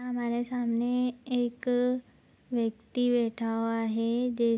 हमारे सामने एक व्यक्ति बैठा हुआ है। दे --